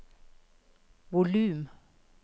volum